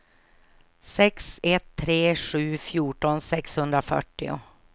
sex ett tre sju fjorton sexhundrafyrtio